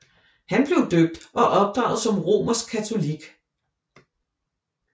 Han blev døbt og opdraget som romersk katolik